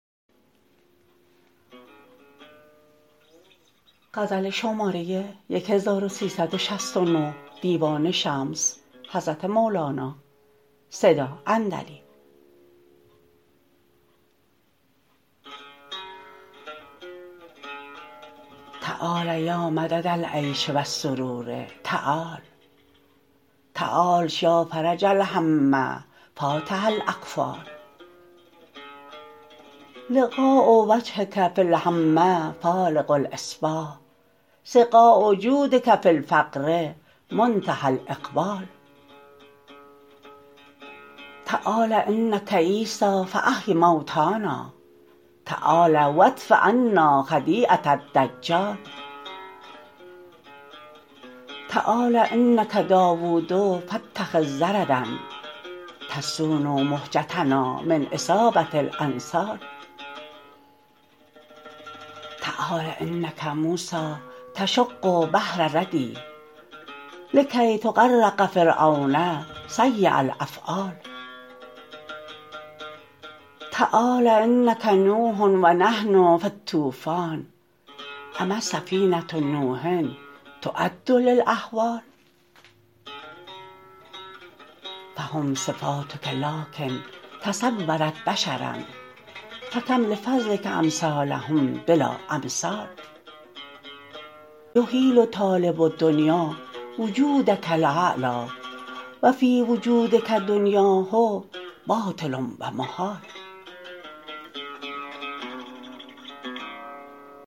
تعال یا مدد العیش و السرور تعال تعال یا فرج الهم فاتح الاقفال لقاء وجهک فی الهم فالق الاصباح سقا جودک فی الفقر منتهی الاقبال تعال انک عیسی فاحی موتانا تعال و ادفع عنا خدیعه الدجال تعال انک داوود فاتخذ زردا تصون مهجتنا من اصابه الانصال تعال انک موسی تشق بحر ردی لکی تغرق فرعون سییء الافعال تعال انک نوح و نحن فی الطوفان اما سفینه نوح تعد للاهوال فهم صفاتک لکن تصورت بشرا فکم لفضلک امثالهم بلا امثال یحیل طالب دنیا وجودک الاعلی و فی وجودک دنیاه باطل و محال